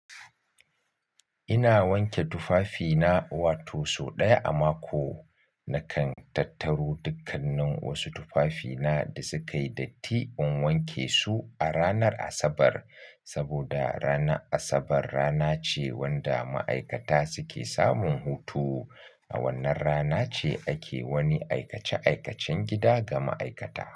Ina wanke tufafina, wato sau ɗaya a mako. Nakan tattaro dukkannin wasu tufafina da suka yi datti in wanke su a ranar Asabar saboda ranar Asabar rana ce wanda ma'aikata suke samun hutu. A wannan rana ce ake wani aikace-aikacen gida ga ma'aikata.